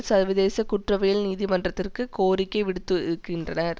சர்வதேச குற்றவியல் நீதிமன்றத்திற்கு கோரிக்கை விடுத்திருக்கின்றனர்